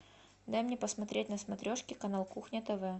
дай мне посмотреть на смотрешке канал кухня тв